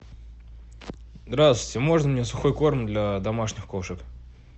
здравствуйте можно мне сухой корм для домашних кошек